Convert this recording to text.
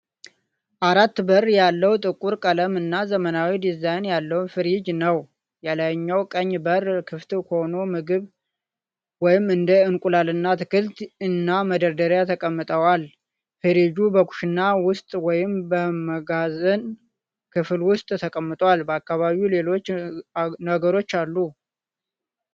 አራት በር ያለው፣ ጥቁር ቀለም እና ዘመናዊ ዲዛይን ያለው ፍሪጅ ነው። የላይኛው ቀኝ በር ክፍት ሆኖ ምግብ (እንደ እንቁላልና አትክልት) እና መደርደሪያዎች ተቀምጠዋል። ፍሪጁ በኩሽና ውስጥ ወይም በመጋዘን ክፍል ውስጥ ተቀምጧል፣ በአካባቢውም ሌሎች ነገሮች አሉ።